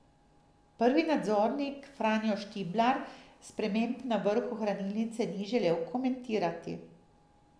Prvi nadzornik Franjo Štiblar sprememb na vrhu hranilnice ni želel komentirati.